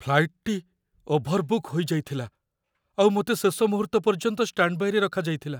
ଫ୍ଲାଇଟ୍‌ଟି overbook ହେଇଯାଇଥିଲା ଆଉ ମୋତେ ଶେଷ ମୁହୂର୍ତ୍ତ ପର୍ଯ୍ୟନ୍ତ ଷ୍ଟାଣ୍ଡବାଇରେ ରଖାଯାଇଥିଲା।